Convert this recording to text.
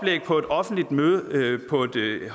tyve